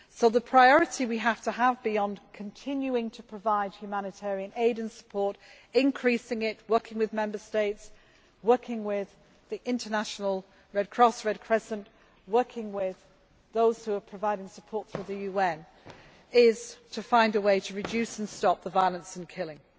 The priority we have to have, beyond continuing to provide humanitarian aid and support, increasing it, working with Member States, working with the International Red Cross and Red Crescent and working with those who are providing support to the UN, is to find a way to reduce and stop the violence and the killing.